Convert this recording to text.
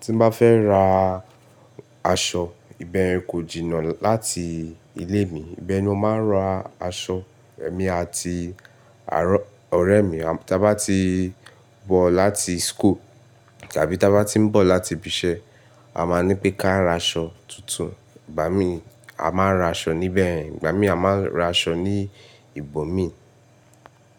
Tí bá fẹ́ ra aṣọ, ìbẹ̀ kò jìnnà láti ilé mi. Ìbẹ̀ ni o máa ń ra aṣọ. Ẹ̀mí àti àárọ̀-- ọ̀rẹ́ mi, tí a bá ti bọ̀ láti school tàbí tí a bá ti ń bọ̀ láti ibi iṣẹ́, a máa ń ní pé ká a ra aṣọ tuntun. Ìgbà mí, a máa ń ra aṣọ níbẹ̀, Ìgbà mí, a máa ń ra aṣọ ní ìbò mi.